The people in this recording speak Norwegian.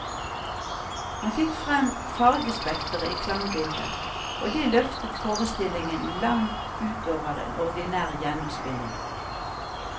Han fikk frem fargespektret i klangbildet, og det løftet forestillingen langt ut over en ordinær gjennomspilling.